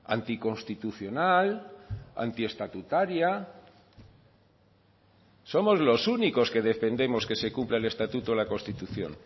anticonstitucional antiestatutaria somos los únicos que defendemos que se cumpla el estatuto la constitución